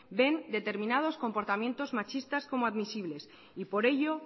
ven determinados comportamientos machista como admisibles y por ello